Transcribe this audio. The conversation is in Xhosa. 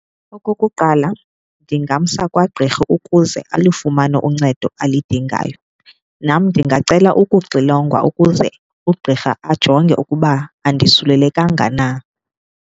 Okokuqala, ndingamsa kwagqirha ukuze alifumane uncedo alidingayo. Nam ndingacela ukuxilongwa ukuze ugqirha ajonge ukuba andisulelekanga na.